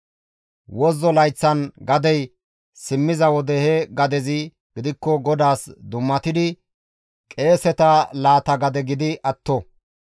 Wozzo layththan gadey simmiza wode he gadezi gidikko GODAAS dummatidi qeeseta laata gade gidi atto.